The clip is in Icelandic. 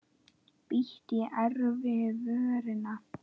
Bít í efri vörina.